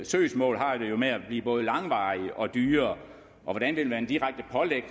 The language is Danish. søgsmål har det jo med at blive både langvarige og dyre og hvordan vil man direkte pålægge